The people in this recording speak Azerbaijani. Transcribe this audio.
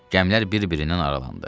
Gəmilər bir-birindən aralandı.